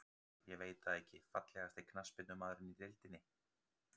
Ég veit það ekki Fallegasti knattspyrnumaðurinn í deildinni?